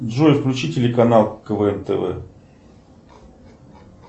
джой включи телеканал квн тв